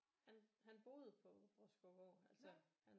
Han han boede på Bråskovgård altså han